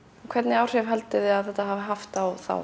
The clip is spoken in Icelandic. hvernig áhrif haldið þið að þetta hafi haft á þá